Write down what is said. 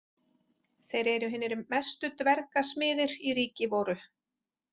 Þeir eru hinir mestu dvergasmiðir í ríki voru.